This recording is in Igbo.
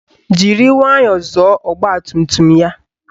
Jiri nwayọọ zọọ ọgbatumtum ya